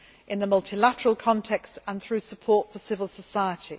in the multilateral context and through support for civil society